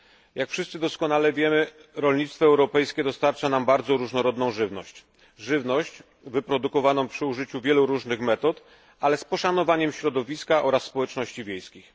Jak wszyscy doskonale wiemy, rolnictwo europejskie dostarcza nam bardzo różnorodną żywność, wyprodukowaną przy użyciu wielu różnych metod, ale z poszanowaniem środowiska, oraz społeczności wiejskich.